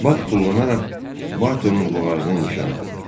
Bak tullanaraq Bartonun boğazını nişan aldı.